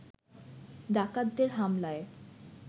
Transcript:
ডাকাতদের হামলায়